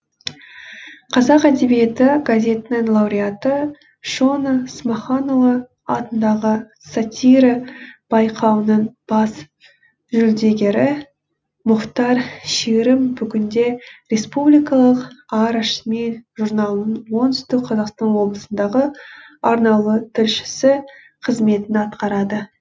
қазақ әдебиеті газетінің лауреаты шона смаханұлы атындағы сатира байқауының бас жүлдегері мұхтар шерім бүгінде республикалық ара шмель журналының оңтүстік қазақстан облысындағы арнаулы тілшісі қызметін атқарады